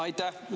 Aitäh!